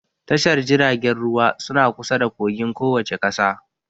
Tashar jiragen ruwa suna kusa da kogin kowace ƙasa